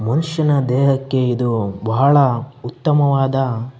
ಮನುಷನ ದೇಹಕ್ಕೆ ಇದು ಬಹಳ ಉತ್ತಮ ವಾದ --